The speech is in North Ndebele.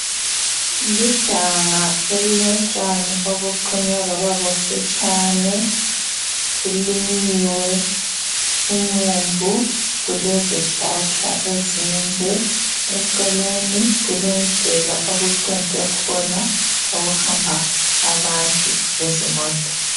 Iganga elilotshani obuqunywe bababufitshane kulinyiwe umumbu kulezihlahla ezinde eceleni kulendlela okucentwe khona okuhamba abantu lezimota.